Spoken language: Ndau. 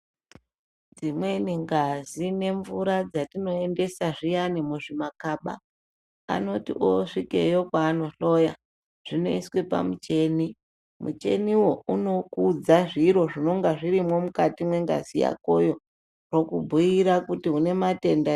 Imweni ngazi nemvura dzatinoendesa zviyani muzvimakaba anoti osvikeyo kwaanojloya zvinoiswe pamucheni micheniyo unkudza zviro zvinenga zvirimwo mukati mwengazi yakoyo okubhuira kuti unematenda e.